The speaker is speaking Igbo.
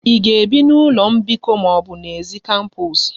Ị ga-ebi n'ụlọ mbikọ ma ọ bụ n'èzí kampos?